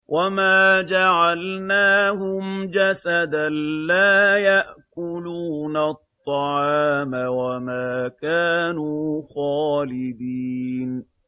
وَمَا جَعَلْنَاهُمْ جَسَدًا لَّا يَأْكُلُونَ الطَّعَامَ وَمَا كَانُوا خَالِدِينَ